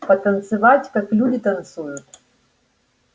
потанцевать как люди танцуют